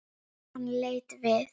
Hann leit við.